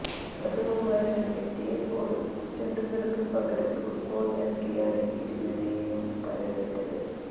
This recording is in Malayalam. വധുവും വരനും എത്തിയപ്പോള് പൂച്ചെണ്ടുകൾക്ക് പകരം ഫുട്ബോൾ നൽകിയാണ് ഇരുവരെയും വരവേറ്റത്